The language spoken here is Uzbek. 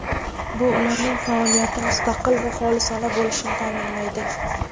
Bu ularning faoliyati mustaqil va xolisona bo‘lishini ta’minlaydi.